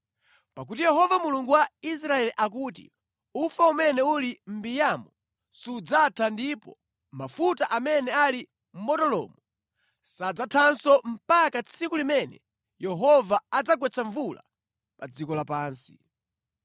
Pakuti Yehova Mulungu wa Israeli akuti, ‘Ufa umene uli mʼmbiyamo sudzatha ndipo mafuta amene ali mʼbotolomo sadzathanso mpaka tsiku limene Yehova adzagwetse mvula pa dziko lapansi.’ ”